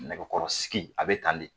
Nɛgɛkɔrɔsigi a bɛ tan de